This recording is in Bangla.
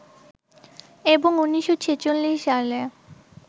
এবং ১৯৪৬ সালে